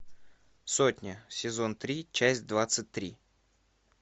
сотня сезон три часть двадцать три